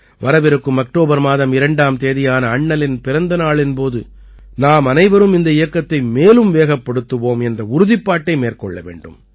வரவிருக்கும் அக்டோபர் மாதம் 2ஆம் தேதியான அண்ணலின் பிறந்த நாளின் போது நாமனைவரும் இந்த இயக்கத்தை மேலும் வேகப்படுத்துவோம் என்ற உறுதிப்பாட்டை மேற்கொள்ள வேண்டும்